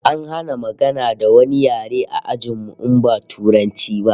An hana magana da wani yare a ajin mu in ba Turanci ba